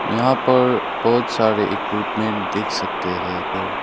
यहां पर बहोत सारे इक्विपमेंट देख सकते हैं।